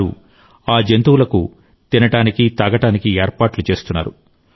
వారు ఆ జంతువులకు తినడానికి తాగడానికి ఏర్పాట్లు చేస్తున్నారు